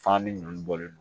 Fani nɔni bɔlen no